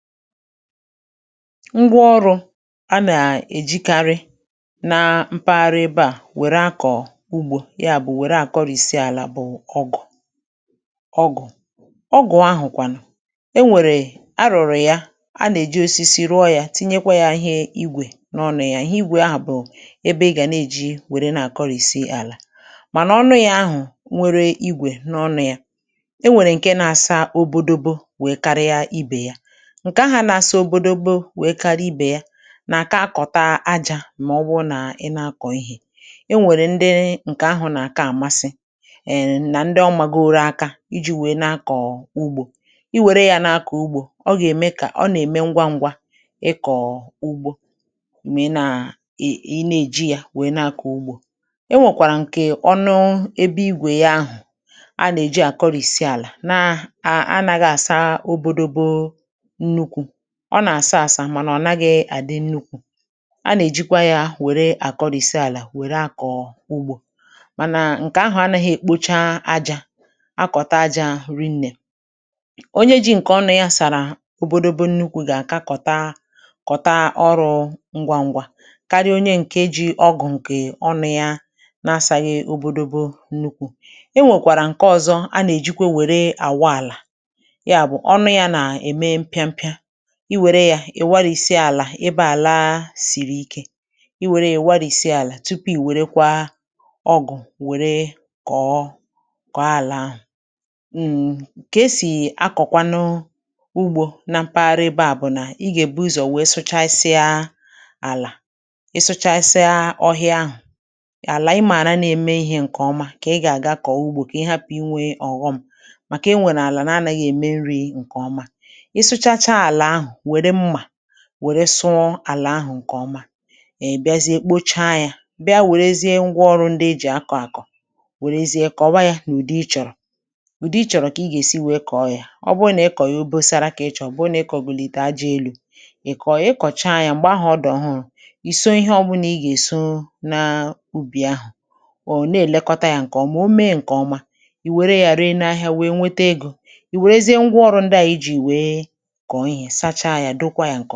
Ngwa ọrụ̇ a nà-èjikarị na mpaghara ebe à wèrè akọ̀ ugbȯ ya bụ̀ wèrè àkọrịsị àlà bụ̀ ọgụ̀ ọgụ̀, ọgụ̀ ahụ̀ kwà nà e nwèrè arụ̀rụ̀ ya, a nà-èji osisi rụọ yȧ tinyekwa yȧ ihe igwè n’ọnụ̇ ya, ihe igwè ahụ̀ bụ̀ ebe ị gà na-eji wère na-àkọrịsị àlà mànà ọnụ yȧ ahụ̀ nwere igwè n’ọnụ̇ ya e nwèrè ǹke na-asa obodobȯ wèe karịa ibè ya, nke aha na-àsị òbòdoòbo wèe kȧriȧ ibè ya nà àka akọ̀ta ajȧ mà ọ bụrụ nà ị na-akọ̀ ihè, e nwèrè ndị ǹkè ahụ̀ nà àka àmasị, è nà ndị ọmàgȧȯrȯ aka iji̇ wèe na-akọ̀ ugbȯ, i wère yȧ na-akọ ugbȯ ọ gà-ème kà ọ nà-ème ngwa ngwa ị kọ̀o ugbȯ, m̀gbè ị naa ị na-èji yȧ wèe na-akọ̀ ugbȯ, ị nwèkwàrà ǹkè ọṅụ ebe igwè ya ahụ̀ a nà-èji àkọrìsi àlà na anàghàsa obȯdȯbo nnukwu, ọ nà-àsa àsa mana ọ̀ naghị̇ àdị nnukwu, a nà-èjikwa yȧ wère àkọrìsi àlà wère akọ̀ọ̀ ugbȯ mànà ǹkè ahụ̀ anȧghị̀ èkpocha ajȧ akọ̀ta ajȧ rinnè, onye ji ǹkè ọnu yȧ sàrà obȯdȯbȯ nnukwu̇ gà-àkakọ̀ta kọ̀ta ọrụ̇ ngwa ngwa karịa onye ǹkè eji̇ ọgụ̀ ǹkè ọnụ̇ yȧ na-asàyị̇ obȯdȯbȯ nnukwu, e nwèkwàrà ǹkè ọzọ a nà-èjikwa wère àwa àlà, ya bụ̀ ọnụ̇ yȧ nà-ème mpịampịa, iwère yȧ ị̀ warisie àlà ebẹ̇ àla sìrì ikė, iwère ị̀ warisie àlà tupu ì wèrekwa ọgụ̀ wère kọ̀ọ koo àlà ahụ̀. Kè esì akọ̀kwanụ ugbȯ na mpaghara ebẹ à bụ̀ nà ị gà èbu ụzọ̀ wee sụchasịa àlà ị sụchasịa ọhịa ahụ̀ àlà ị maara na-eme ihė ǹkè ọma kà ị gà àga kọ̀ọ ugbȯ kà ị hapụ̀ inwė ọ̀ghọm màkà enwère àlà nà anȧghị ème nri̇ ǹkè ọma, isuchacha ala ahụ, were mma wère sụọ àlà ahụ̀ ǹkè ọma,ị biazie kpocha yȧ bịa wèrezie ngwa ọrụ̇ ndị ejì akọ̀ àkọ̀ wèrezie kọ̀wa yȧ n’ùdi ị chọ̀rọ̀ ùdi ị chọ̀rọ̀ kà ị gà-èsi wèe kọ̀ọ yȧ, ọ bụrụ nà ị kọ̀ ya obosara kà ị chọ̀rọ̀ obụrụ nà ị kọ̀golite ajȧ elu̇ iko ya, ị̀ kọ̀cha yȧ m̀gbè ahụ̀ ọ di ohụrụ̀ ịso ihe ọbụnà ị gà-èso na ubì ahụ̀, or na-èlekọta yȧ ǹkè ọma, o mee ǹkè ọma ì wère yȧ ree n’ahịa wee nwete egȯ ì wèrezie ngwa ọrụ̇ ndị à ijì wee ikọ̀ ihe sachaa ya dokwa ya.